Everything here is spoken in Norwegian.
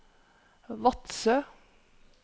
Vadsø